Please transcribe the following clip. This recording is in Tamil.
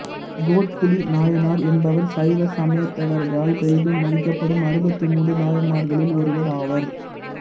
கோட்புலிநாயனார் என்பவர் சைவ சமயத்தவர்களால் பெரிதும் மதிக்கப்படும் அறுபத்து மூன்று நாயன்மார்களில் ஒருவர் ஆவார்